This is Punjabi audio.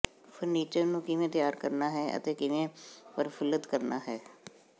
ਫਰਨੀਚਰ ਨੂੰ ਕਿਵੇਂ ਤਿਆਰ ਕਰਨਾ ਹੈ ਅਤੇ ਕਿਵੇਂ ਪ੍ਰਫੁੱਲਤ ਕਰਨਾ ਹੈ